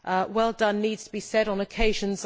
Well done' needs to be said on occasions.